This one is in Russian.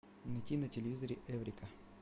найти на телевизоре эврика